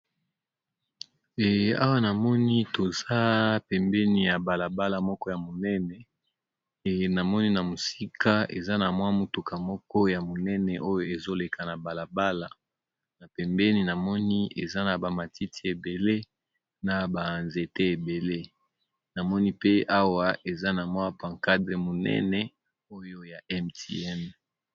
E awa na moni toza pembeni ya balabala moko ya monene, emonani na mosika eza na mwa motuka moko ya monene oyo ezoleka na balabala. Na pembeni na moni eza na ba matiti ebele, na ba nzete ebele. Na moni pe awa, eza na mwa pancarte monene oyo ya MTN.